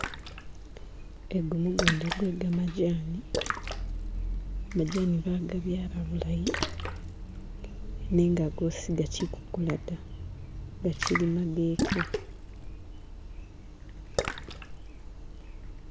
Egu mugunda gwe gamajani majani bagabyala nenga gwosi gachikukula da gachili mageke